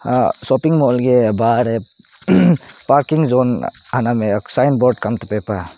sopping mall bahar heh parking zoon anam heh sign board kam tepe pah.